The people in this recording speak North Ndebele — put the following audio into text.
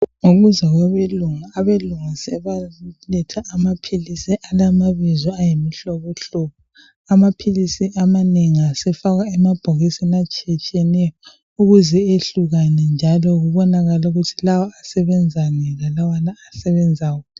Ngokuza kwabelungu abelungu sebaletha amaphilisi alamabizo ayimihlobohlobo amaphilisi amanengi asefakwa emabhokisini atshiyetshiyeneyo ukuze ehlukane njalo kubonakale ukuthi lawa asebenzani lalawana asebenzani.